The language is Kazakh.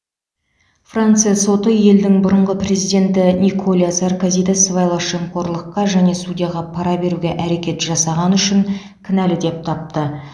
франция соты елдің бұрынғы президенті николя саркозиді сыбайлас жемқорлыққа және судьяға пара беруге әрекет жасағаны үшін кінәлі деп тапты